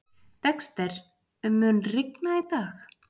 Dexter, mun rigna í dag?